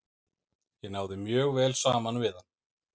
Ég náði mjög vel saman við hann.